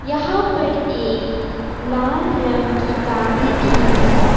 यहां पर एक लाल रंग की गाड़ी भी है।